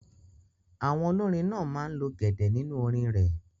Àwọn olórin náà máa ń lo gẹ̀dẹ̀ nínú orin rẹ̀